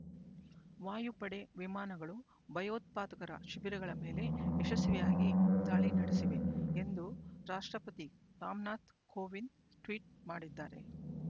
ವಾಯುಪಡೆ ವಿಮಾನಗಳು ಭಯೋತ್ಪಾದಕರ ಶಿಬಿರಗಳ ಮೇಲೆ ಯಶಸ್ವಿಯಾಗಿ ದಾಳಿ ನಡೆಸಿವೆ ಎಂದು ರಾಷ್ಟ್ರಪತಿ ರಾಮನಾಥ್ ಕೋವಿಂದ್ ಟ್ವೀಟ್ ಮಾಡಿದ್ದಾರೆ